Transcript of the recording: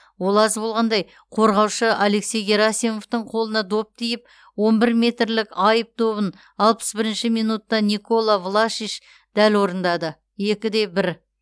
ол аз болғандай қорғаушы алексей герасимовтың қолына доп тиіп он бір метрлік айып добын алпыс бірінші минутта никола влашич дәл орындады екі де бір